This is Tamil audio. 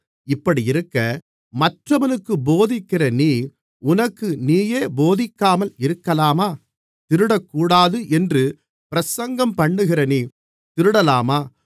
இப்படியிருக்க மற்றவனுக்குப் போதிக்கிற நீ உனக்கு நீயே போதிக்காமல் இருக்கலாமா திருடக்கூடாது என்று பிரசங்கம் பண்ணுகிற நீ திருடலாமா